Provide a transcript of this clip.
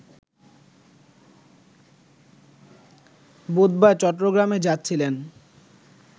বুধবার চট্টগ্রামে যাচ্ছিলেন